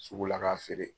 Sugu la k'a feere